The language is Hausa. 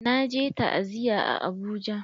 Na je ta'aziya a Abuja.